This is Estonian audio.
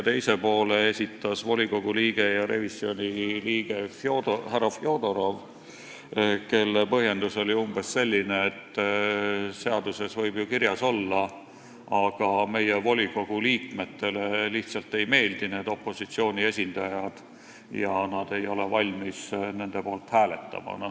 Teise poole esitas volikogu ja revisjonikomisjoni liige härra Fjodorov, kelle põhjendus oli umbes selline, et seaduses võib ju kirjas olla, aga Narva volikogu liikmetele lihtsalt ei meeldi need opositsiooni esindajad ja nad ei ole valmis nende poolt hääletama.